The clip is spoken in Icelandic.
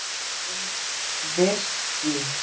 Þú lifðir því.